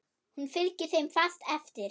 Hún fylgdi þeim fast eftir.